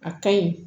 A ka ɲi